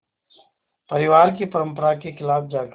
परिवार की परंपरा के ख़िलाफ़ जाकर